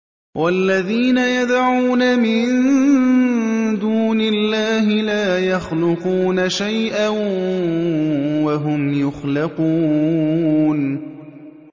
وَالَّذِينَ يَدْعُونَ مِن دُونِ اللَّهِ لَا يَخْلُقُونَ شَيْئًا وَهُمْ يُخْلَقُونَ